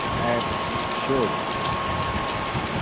app शोध